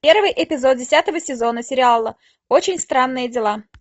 первый эпизод десятого сезона сериала очень странные дела